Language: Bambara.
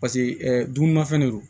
Paseke dumunimafɛn de don